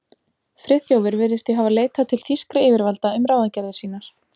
Friðþjófur virðist því hafa leitað til þýskra yfirvalda um ráðagerðir sínar.